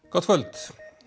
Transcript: gott kvöld